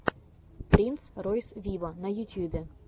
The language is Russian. принц ройс виво на ютьюбе